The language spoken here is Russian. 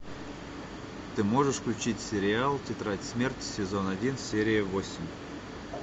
ты можешь включить сериал тетрадь смерти сезон один серия восемь